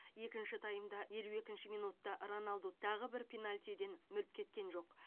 екінші таймда елу екінші минутта роналду тағы бір пенальтиден мүлт кеткен жоқ